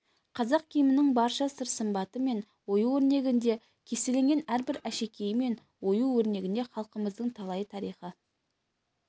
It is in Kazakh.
қазақ киімінің барша сыр-сымбаты мен ою-өрнегінде кестеленген әрбір әшекейі мен ою өрнегінде халқымыздың талайы тарихы